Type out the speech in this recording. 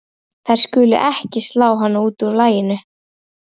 Þær skulu ekki slá hana út af laginu.